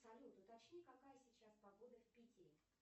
салют уточни какая сейчас погода в питере